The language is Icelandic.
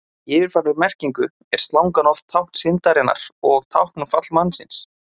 En í yfirfærðri merkingu er slangan oft tákn syndarinnar og tákn um fall mannsins.